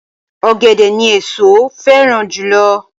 Ọ̀gẹ̀dẹ̀ ni èso féràn jùlo